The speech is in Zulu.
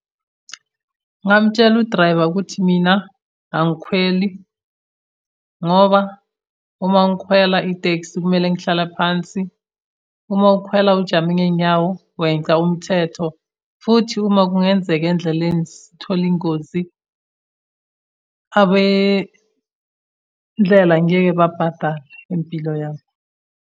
Ngingamutshela udrayiva ukuthi mina angikhweli, ngoba uma ngikhwela itekisi kumele ngihlala phansi. Uma ukhwela ujame ngey'nyawo weca umthetho, futhi uma kungenzeka endleleni sithole ingozi, abendlela ngeke babhadale impilo yami.